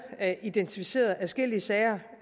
identificeret adskillige sager